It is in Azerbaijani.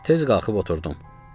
Tez qalxıb oturdum.